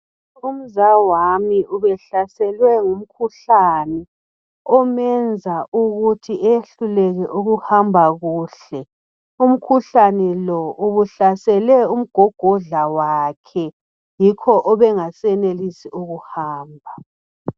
Umzawami ubehlaselwe ngumkhuhlane obumenza ukuthi ehluleke ukuhamba kuhle umkhuhlane lo ukuhlasele umgogodla wakhe. Yokho ubengasenelisi ukuhamba